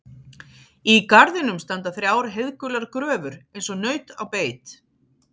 Í garðinum standa þrjár heiðgular gröfur eins og naut á beit.